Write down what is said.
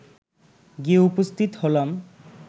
গিয়ে উপস্থিত হলাম